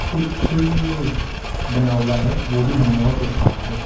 कुछ बना हुआ है वो भी मनमोहक लग रहा है।